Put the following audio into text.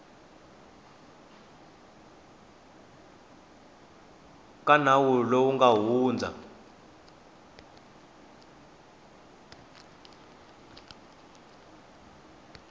ka nawu lowu nga hundza